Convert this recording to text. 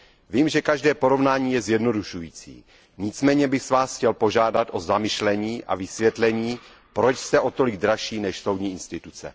Vím, že každé porovnání je zjednodušující. Nicméně bych vás chtěl požádat o zamyšlení a vysvětlení, proč jste o tolik dražší, než soudní instituce.